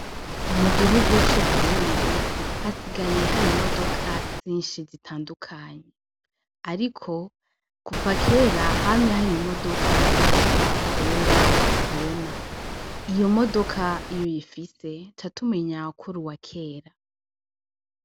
Mugihugu c'uburundi hasigaye har'imodoka nyishi zitandukanye, ariko kuva kera hamye har'imodoka zitwa korora, korona, iyo modoka iyo uyifise tuba tubona yuko uruwakera.